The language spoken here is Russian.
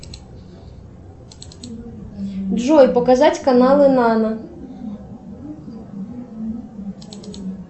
джой показать каналы нано